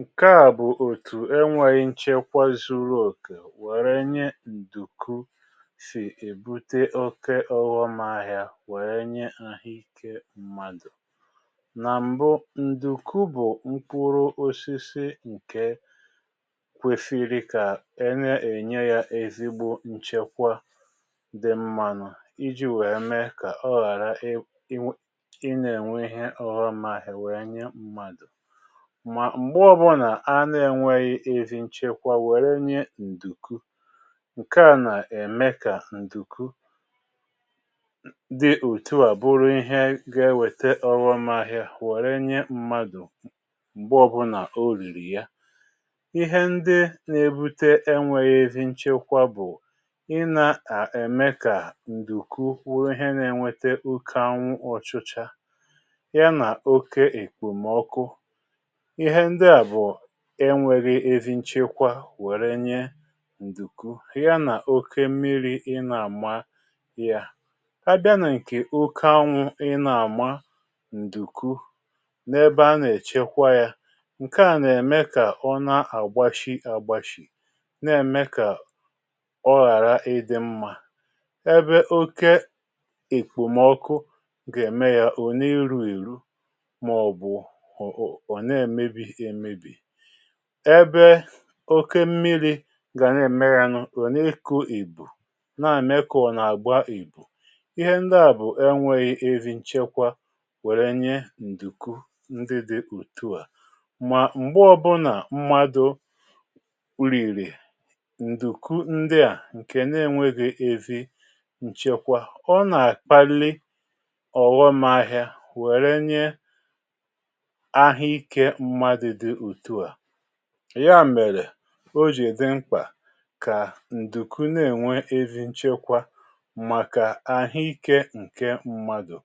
Nke à bụ̀ òtù enwėghi nchekwa zuru òkè wèrè nye ǹdùku sì èbute oke ọ̀ghọm ahịa wèe nye ahụ ikė mmadụ̀. Nà m̀bụ, ǹdùku bụ̀ mkpụrụ osisi ǹke kwesịrị kà a na ènye ya èzìgbo nchekwa dị mmȧnụ iji̇ wèe mee kà ọ ghàra ị ị nà enwe ihe ọghọm ahịa wèe nye mmadụ̀. Ma m̀gbe ọ bụlà anȧ-ėnwėghi̇ ezi nchekwa wère nye ǹdùku, ǹke à nà ème kà ǹdùku di òtuà bụrụ ihe ga-ewèta ọghọm ahịa wère nye mmadù m̀gbe ọ bụ nà o rìrì ya. Ihe ndi na-ebute enwėghi̇ ezi nchekwa bụ̀: ị nȧ-à ème kà ǹdùku bụrụ ihe nȧ-ènwete oke anwu ọchịcha, ya nà okė ekpòmọkụ, ihe ndị a bụ enwėghi ezi nchekwa wère nye ǹdùkwu, ya nà oke mmiri̇ ị nà-àma ya. A bịa na ǹkè oke anwụ̇ ị nà-àma ǹdùkwu n’ebe a nà-èchekwa ya, ǹke à nà-ème kà ọ na-àgbashi agbashì, n’ème kà ọ ghàra ịdị̇ mmȧ. Ebe oke èkpòmọkụ gà-ème ya ọ na eru̇ erù, mà ọ̀ bụ ọ na emebi emebi. Ebe oke mmiri̇ gà na-èmeyanu ọ na ekụ̇ ìbù, n’ème ka ọ nà-àgba ìbù. Ihe ndị à bụ̀ e nweghì ezi nchekwa wère nye ǹdùku ndị di otu à. Mà m̀gbe ọ bụnà mmadu̇ rìrì ǹdùku ndị à ǹkè n’enwėghi̇ ezi ǹchekwa, ọ nà-àkpalị ọ̀ghọmahịȧ wère nye ahụ ike mmadụ dị otu a. Ya mèrè o jì dị mkpà kà ǹdùku na-ènwe ezi nchekwa màkà ahụ ikė ǹke mmadụ̀.